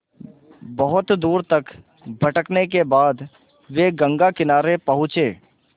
बहुत दूर तक भटकने के बाद वे गंगा किनारे पहुँचे